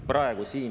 … praegu siin.